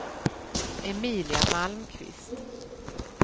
Emilia Malmqvist